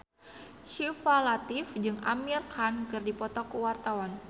Syifa Latief jeung Amir Khan keur dipoto ku wartawan